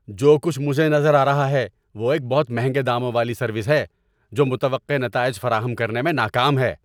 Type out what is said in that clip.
جو کچھ مجھے نظر آ رہا ہے وہ ایک بہت مہنگے داموں والی سروس ہے جو متوقع نتائج فراہم کرنے میں ناکام ہے۔